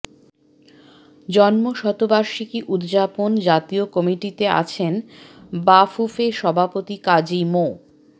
জন্মশতবার্ষিকী উদযাপন জাতীয় কমিটিতে আছেন বাফুফে সভাপতি কাজী মো